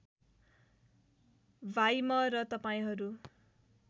भाइ म र तपाईँहरू